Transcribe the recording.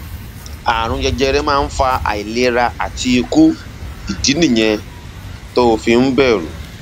ààrùn jẹjẹrẹ máa ń fa àìlera àti ikú ìdí nìyẹn tó o fi ń bẹrù